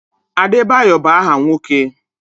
Adebayo bụ áhà nwoke.